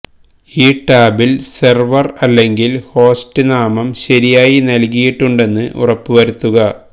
ഈ ടാബിൽ സെർവർ അല്ലെങ്കിൽ ഹോസ്റ്റ് നാമം ശരിയായി നൽകിയിട്ടുണ്ടെന്ന് ഉറപ്പുവരുത്തുക